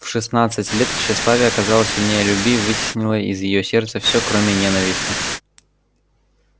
в шестнадцать лет тщеславие оказалось сильнее любви и вытеснило из её сердца все кроме ненависти